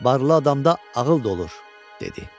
Varlı adamda ağıl da olur, dedi.